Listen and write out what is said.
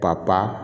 Papa